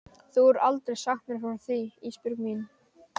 Þú hefur aldrei sagt mér frá því Ísbjörg mín.